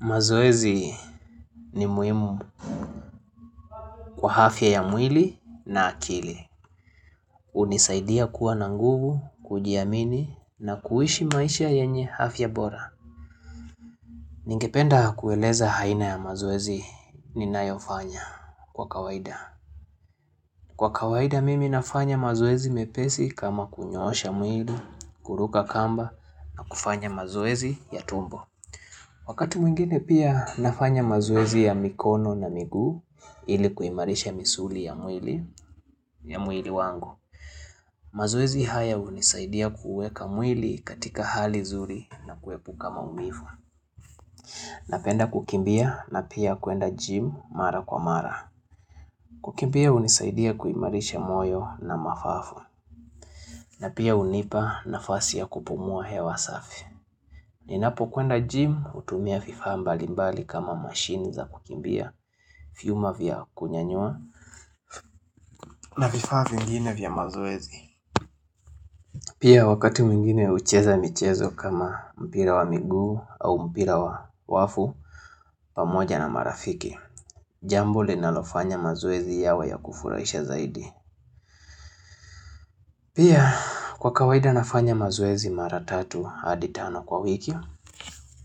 Mazoezi ni muhimu kwa afya ya mwili na akili. Hunisaidia kuwa na nguvu, kujiamini na kuishi maisha yenye afya bora. Ningependa kueleza aina ya mazoezi ninayofanya kwa kawaida. Kwa kawaida mimi nafanya mazoezi mepesi kama kunyoosha mwili, kuruka kamba na kufanya mazoezi ya tumbo. Wakati mwingine pia nafanya mazoezi ya mikono na miguu ilikuimarisha misuli ya mwili wangu. Mazoezi haya hunisaidia kuweka mwili katika hali nzuri na kuepuka maumivu. Napenda kukimbia na pia kuenda jym mara kwa mara. Kukimbia hunisaidia kuimarisha moyo na mapafu. Na pia hunipa nafasi ya kupumua hewa safi. Ninapo kwenda jym hutumia vifaa mbali mbali kama machine za kukimbia vyuma vya kunyanyua na vifaa vingine vya mazoezi Pia wakati mwingine hucheza michezo kama mpira wa miguu au mpira wa nyavu pamoja na marafiki Jambo linalofanya mazoezi yawe ya kufurahisha zaidi Pia kwa kawaida nafanya mazoezi maratatu hadi tano kwa wiki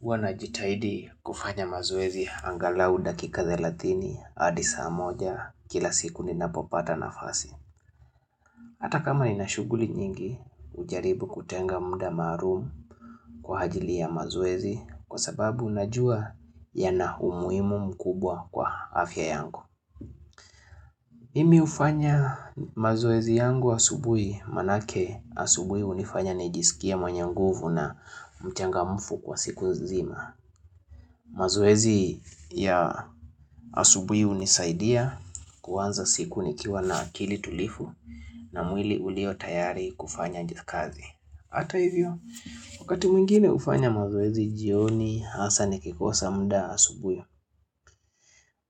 Huwa na jitahidi kufanya mazoezi angalau dakika thelathini hadi saa moja kila siku ninapopata nafasi. Hata kama ninashuguli nyingi hujaribu kutenga mda maalum kwa hajili ya mazuezi kwa sababu najua yana umuimu mkubwa kwa afya yangu. Mimi hufanya mazoezi yangu asubuhi maanake asubuhi hunifanya nijisikie mwenye nguvu na mchangamufu kwa siku nzima. Mazoezi ya asubuhi hunisaidia kuanza siku nikiwa na akili tulivu na mwili ulio tayari kufanya nkazi Hata hivyo, wakati mwingine hufanya mazoezi jioni hasa nikikosa mda asubuhi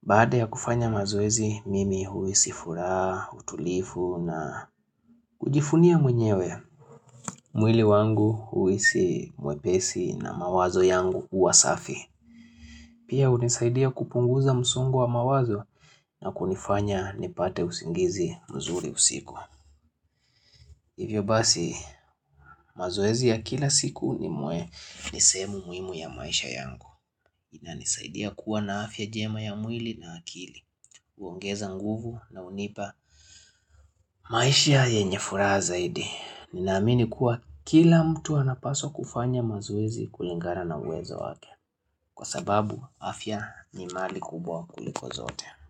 Baada ya kufanya mazoezi mimi huhisi furaha, utulivu na kujivunia mwenyewe mwili wangu huhisi mwepesi na mawazo yangu huwa safi Pia hunisaidia kupunguza msungu wa mawazo na kunifanya nipate usingizi mzuri usiku. Hivyo basi mazoezi ya kila siku ni muwe ni sehemu muhimu ya maisha yangu. Inanisaidia kuwa na afya njema ya mwili na akili. Uongeza nguvu na hunipa maisha yenye furaha zaidi. Ninaamini kuwa kila mtu anapaswa kufanya mazoezi kulingana na uwezo wake. Kwa sababu afya ni mali kubwa kuliko zote.